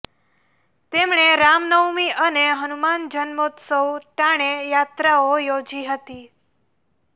તેમણે રામનવમી અને હનુમાન જન્મોત્સવ ટાણે યાત્રાઓ યોજી હતી